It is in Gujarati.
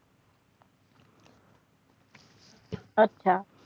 અચ્છા